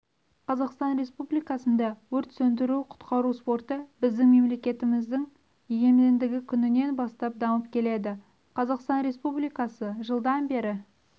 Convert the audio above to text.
қазақстан республикасында өрт сөндіру-құтқару спорты біздің мемлекетіміздің егемендігі күнінен бастап дамып келеді қазақстан республикасы жылдан бері